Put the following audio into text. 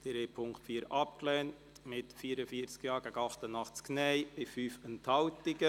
Sie haben den Punkt 4 abgelehnt mit 44 Ja- gegen 88 Nein-Stimmen bei 5 Enthaltungen.